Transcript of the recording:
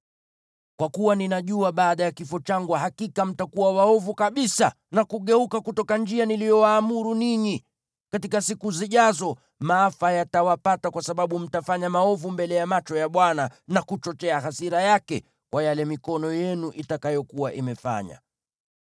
Kwa kuwa ninajua baada ya kifo changu hakika mtakuwa waovu kabisa na kugeuka kutoka njia niliyowaamuru ninyi. Katika siku zijazo, maafa yatawapata kwa sababu mtafanya maovu mbele ya macho ya Bwana , na kuchochea hasira yake kwa yale mikono yenu itakayokuwa imefanya.”